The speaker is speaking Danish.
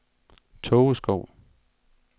Tågeskov